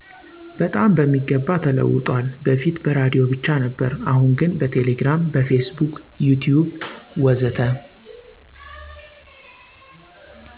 በጣም በሚገባ ተለውጧል በፊት በራዲዮ ብቻ ነበር አሁን ግን በቴሌግራም፣ በፌስቡክ፣ ዩቲዩብ ወዘተ።